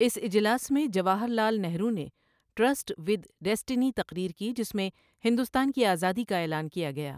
اس اجلاس میں جواہر لال نہرو نے ٹرِسٹ وِد ڈیسٹنی تقریر کی جس میں ہندوستان کی آزادی کا اعلان کیا گیا۔